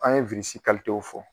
An ye si w fɔ